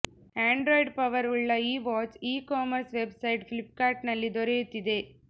Android power ಉಳ್ಳ ಈ watch e commerce website ಫ್ಲಿಪ್ಕಾರ್ಟ್ನಲ್ಲಿ ದೊರೆಯುತ್ತಿದೆ